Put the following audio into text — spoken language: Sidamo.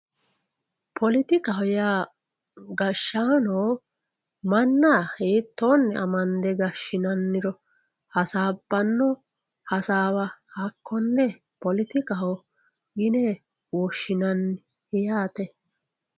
politikaho yaa gashshaano manna hiittoonni amande gashshinanniro hasaabbanno hasaawa hakkonne politikaho yine woshshinanni yaate.